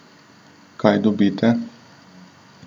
Kaj dobite?